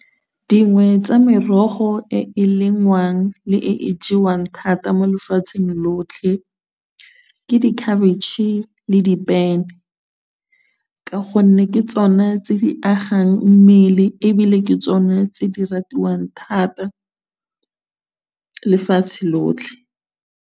Dingwe tsa merogo e e lengwang le e e jewang thata mo lefatsheng lotlhe, ke dikhabitšhe le dipene, ka gonne ke tsone tse di agang mmele ebile ke tsone tse di ratiwang thata lefatshe lotlhe.